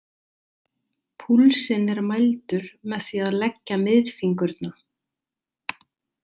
Púlsinn er mældur með því að leggja miðfingurna.